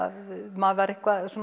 maður var